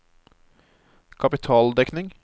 kapitaldekning